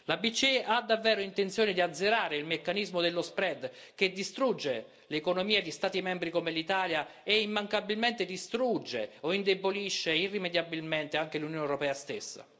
La BCE ha davvero intenzione di azzerare il meccanismo dello spread che distrugge l'economia di Stati membri come l'Italia e immancabilmente distrugge o indebolisce irrimediabilmente anche l'Unione europea stessa?